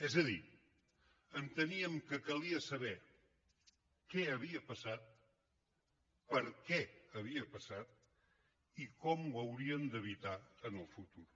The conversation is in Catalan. és a dir enteníem que calia saber què havia passat per què havia passat i com ho hauríem d’evitar en el futur